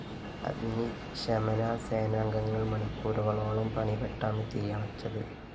അഗ്നിശമനസേനാംഗങ്ങള്‍ മണിക്കൂറുകളോളം പണിപ്പെട്ടാണ് തീയണച്ചത്